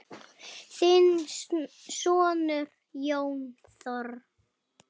Þinn sonur, Jón Þór.